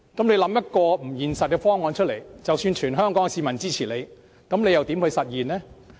你想一個不現實的方案，即使得到全港市民支持，又要如何實現？